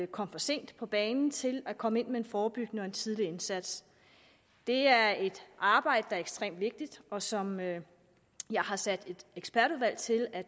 komme for sent på banen til at komme ind med en forebyggende og en tidlig indsats det er et arbejde er ekstremt vigtigt og som jeg har sat et ekspertudvalg til at